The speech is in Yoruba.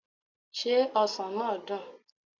Ṣé ọsàn náà dùn?